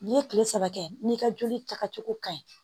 N'i ye kile saba kɛ n'i ka joli taga cogo ka ɲi